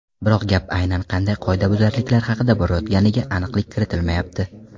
Biroq gap aynan qanday qoidabuzarliklar haqida borayotganiga aniqlik kiritilmayapti.